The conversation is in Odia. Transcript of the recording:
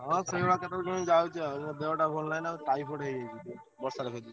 ହାଁ ସେଇଭଳିଆ କେତବେଳେ କେମିତି ଯାଉଛି ଆଉ ଦେହ ଟା ଭଲ ନହିଁ ନା ଟାଇଫଏଡ ହେଇଯାଇଛି ଟିକେ ବର୍ଷା ରେ ଭେଦିକି।